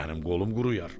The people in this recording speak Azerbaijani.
Mənim qolum quruyar.